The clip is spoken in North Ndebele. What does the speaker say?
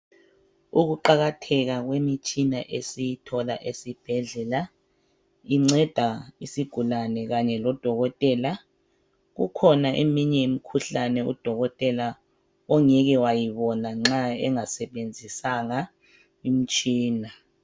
Ukuqakatheka kwemitshina esiyithola esibhedlela inceda isigulane kanye lodokotela. Kukhona eminye imikhuhlane udokotela ongeke wayibona nxa engasebenzisanga imitshina.